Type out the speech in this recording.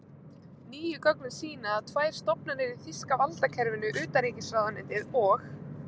Nýju gögnin sýna, að tvær stofnanir í þýska valdakerfinu, utanríkisráðuneytið og